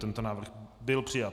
Tento návrh byl přijat.